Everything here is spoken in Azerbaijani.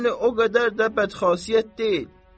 Yəni o qədər də bədxasiyyət deyil.